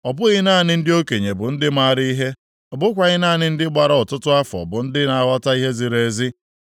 Ọ bụghị naanị ndị okenye bụ ndị mara ihe, ọ bụkwaghị naanị ndị gbara ọtụtụ afọ bụ ndị na-aghọta ihe ziri ezi.